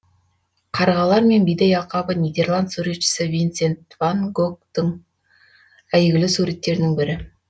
қарғалар мен бидай алқабы нидерланд суретшісі винсент ван гогтың әйгілі суреттерінің бірі